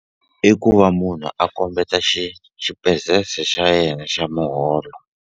I ku va munhu a kombeta xa yena xa muholo.